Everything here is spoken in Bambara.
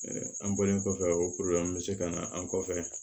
an bɔlen kɔfɛ o bɛ se ka na an kɔfɛ